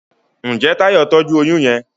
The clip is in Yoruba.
Njé Tayo tọjú oyún yén.